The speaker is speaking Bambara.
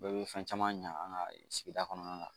Bɛɛ bɛ fɛn caman ɲa an ka sigida kɔnɔna na